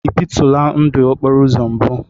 Ị bitula ndụ okporo uzo mbu?